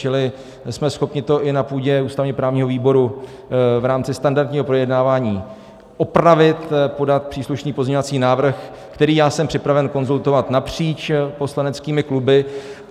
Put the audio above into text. Čili jsme schopni to i na půdě ústavně-právního výboru v rámci standardního projednávání opravit, podat příslušný pozměňovací návrh, který já jsem připraven konzultovat napříč poslaneckými kluby.